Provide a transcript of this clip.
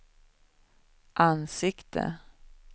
ansikte